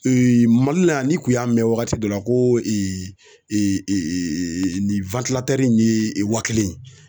Mali la yan n'i kun y'a mɛn wagati dɔ la ko nin in ye wa kelen ye.